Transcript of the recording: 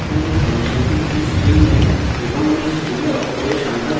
এখন এই ফাংশনটি একটি string নেয় এবং ওই string a অক্ষরের সংখ্যা গননা করে